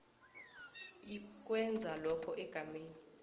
ikwenza lokho egameni